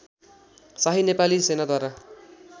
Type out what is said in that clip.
Shahi Nepali सेनाद्वारा